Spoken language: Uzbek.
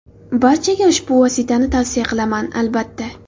Barchaga ushbu vositani tavsiya qilaman, albatta.